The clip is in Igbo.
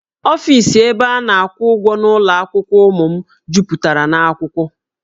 Ọfis ebe a na-akwụ ụgwọ n'ụlọ akwụkwọ ụmụ m jupụtara na akwụkwọ